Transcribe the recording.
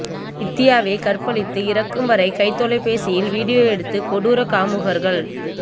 வித்தியாவைக் கற்பழித்து இறக்கும் வரை கைத் தொலைபேசியில் வீடியோ எடுத்த கொடூர காமுகர்கள்